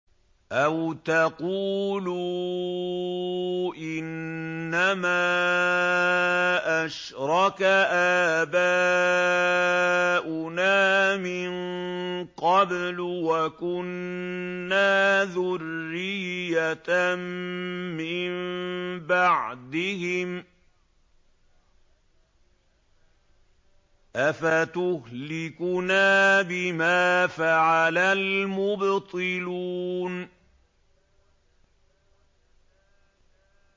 أَوْ تَقُولُوا إِنَّمَا أَشْرَكَ آبَاؤُنَا مِن قَبْلُ وَكُنَّا ذُرِّيَّةً مِّن بَعْدِهِمْ ۖ أَفَتُهْلِكُنَا بِمَا فَعَلَ الْمُبْطِلُونَ